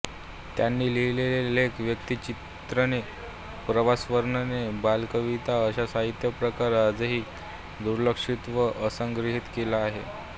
त्यांनी लिहिलेले लेख व्यक्तिचित्रणे प्रवासवर्णने बालकविता असा साहित्य प्रकार आजही दुर्लक्षित व असंग्रहित आहे